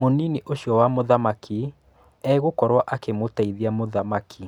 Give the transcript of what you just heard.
Mũnini ũcio wa Mũthamaki egũkorwo akĩmũteithia mũthamaki.